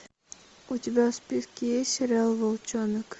у тебя в списке есть сериал волчонок